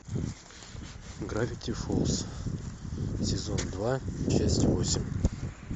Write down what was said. гравити фолз сезон два часть восемь